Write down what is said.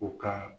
O kan